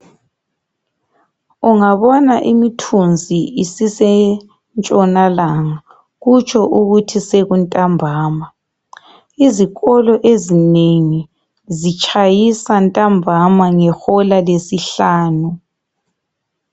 ungabona imithunzi isisentshonalanga kutsho ukuthi sekuntambama izikolo ezinengi zitshayisa ntambama ngehola lesihlanu